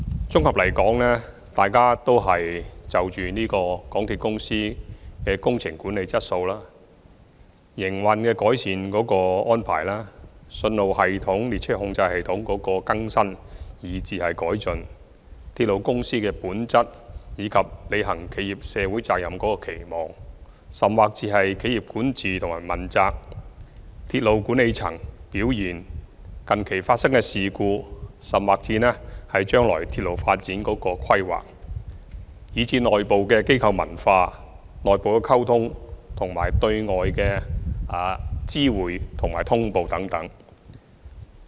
綜合而言，大家就香港鐵路有限公司的工程管理質素、改善營運安排、信號系統和列車控制系統的更新、改進鐵路公司的本質、履行企業社會責任、企業管治和問責、鐵路管理層的表現、近期發生的事故、將來鐵路發展的規劃、內部的機構文化、內部的溝通，以及對外的知會和通報等發表意見。